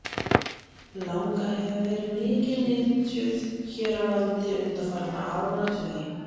Langa hefur verið mikið nytjuð hér á landi undanfarna áratugi.